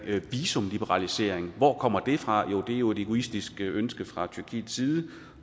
visumliberalisering hvor kommer det fra jo det er jo et egoistisk ønske fra tyrkiets side